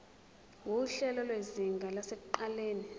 nguhlelo lwezinga lasekuqaleni